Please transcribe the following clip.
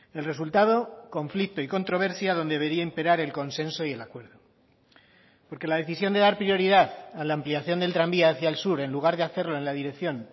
el resultado conflicto y controversia donde debería imperar el consenso y el acuerdo porque la decisión de dar prioridad a la ampliación del tranvía hacia el sur en lugar de hacerlo en la dirección